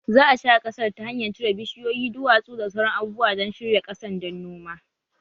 Za a share ƙasar ta hanyar cire bishiyoyi, duwatsu, da sauran abubuwa don shirya ƙasan dan noma